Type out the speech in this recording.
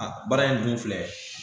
A baara in dun filɛ